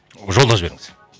жолдап жіберіңіз